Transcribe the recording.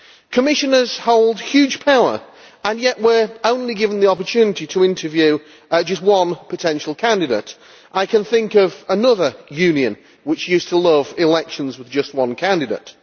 Commissioners hold huge power and yet we are given the opportunity to interview just one potential candidate. I can think of another union which used to love elections with just one candidate.